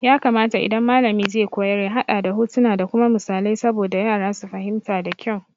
Ya kamata idan malami zai koyar ya haɗa da hotuna da kuma misalai saboda yara su fahimta da kyau.